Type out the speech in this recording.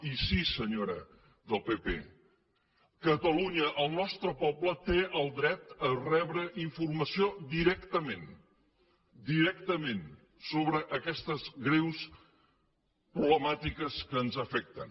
i sí senyora del pp catalunya el nostre poble té el dret a rebre informació directament directament sobre aquestes greus problemàtiques que ens afecten